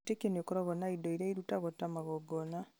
o wĩtĩkio nĩũkoragwo na indo irĩa irutagwo ta magongona